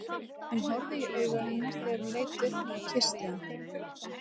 Hún horfði í augu hennar þegar hún leit upp og kyssti hana.